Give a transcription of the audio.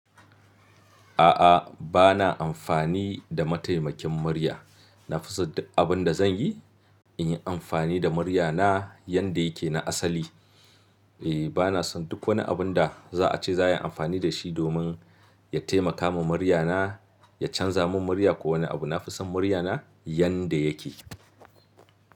A'a, ba na amfani da mataimakin murya. Na fi so duk abin da zan yi in yi amfani da murya na yanda yake na asali. E, ba na son duk wani abun da za a ce za a yi amfani da shi domin ya taimaka ma murya na, ya canza min murya ko wani abu. Na fi son murya na yanda yake.